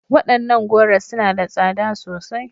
Wadannan goro suna da tsada sosai.